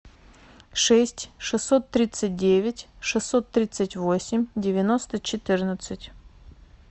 шесть шестьсот тридцать девять шестьсот тридцать восемь девяносто четырнадцать